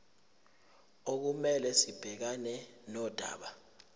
okumele sibhekane nodaba